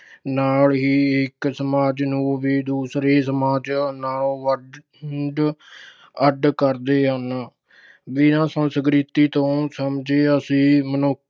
ਨਾਲ ਹੀ ਇਕ ਸਮਾਜ ਨੂੰ ਵੀ ਦੂਸਰੇ ਸਮਾਜ ਨਾਲੋਂ ਵੰਡ ਅਹ ਅੱਡ ਕਰਦੇ ਹਨ। ਬਿਨਾਂ ਸੰਸਕ੍ਰਿਤੀ ਤੋਂ ਸਮਝੇ ਅਸੀਂ ਮਨੁੱਖ